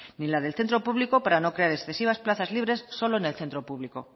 ni la del centro público para no crear excesivas plazas libres solo en el centro público